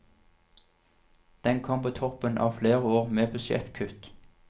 Den kom på toppen av flere år med budsjettkutt.